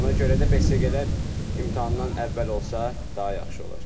Ona görə də besiqələr imtahandan əvvəl olsa daha yaxşı olar.